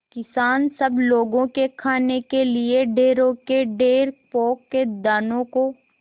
किसान सब लोगों के खाने के लिए ढेरों के ढेर पोंख के दानों को